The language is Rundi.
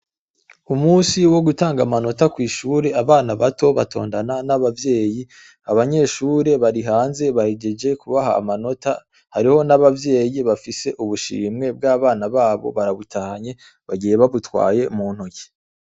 umunsi wo gutanga amanota kwishuri abana bato batondana n'ababyeyi abanyeshuri barihanze bahigeje kubaha amanota hariho n'ababyeyi bafise ubushimwe bw'abana babo barabutanye bagiye babutwaye mu ntoke